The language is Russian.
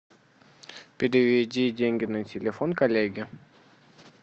переведи деньги на телефон коллеге